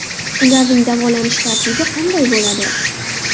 Ularning davolanish tartibi qanday bo‘ladi?